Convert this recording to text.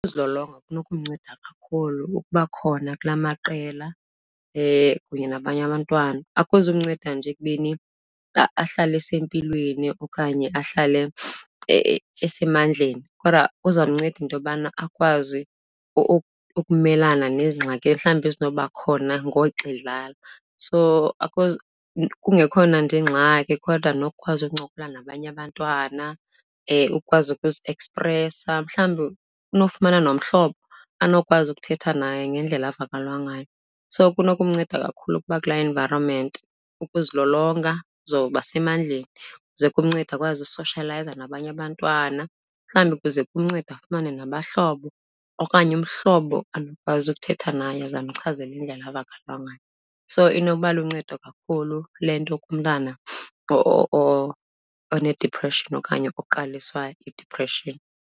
Uzilolonga kunokumnceda kakhulu. Ukuba khona kula maqela kunye nabanye abantwana akuzukumnceda nje ekubeni ahlale esempilweni okanye ahlale esemandleni, kodwa kuzamnceda into yobana akwazi ukumelana neengxaki mhlawumbi ezinokuba khona ngoxa edlala. So akho , kungekho nanto eyingxaki kodwa nokukwazi ukuncokola nabanye abantwana, ukukwazi ukuziekspresa. Mhlawumbi unofumana nomhlobo anokwazi ukuthetha naye ngendlela avakalelwa ngayo, so kunokumnceda kakhulu ukuba kulaa environment. Ukuzilolonga uzobasemandleni ze kumncede akwazi usoshiyalayiza nabanye abantwana. Mhlawumbi kuze kumncede afumane nabahlobo okanye umhlobo anokwazi ukuthetha naye, aze amchazele indlela avakalelwa ngayo. So inokuba luncedo kakhulu le nto kumntana onediphreshini okanye oqaliswa yidiphreshini.